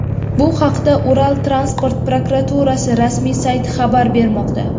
Bu haqda Ural transport prokuraturasi rasmiy sayti xabar bermoqda .